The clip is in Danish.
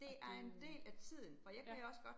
Er det. Ja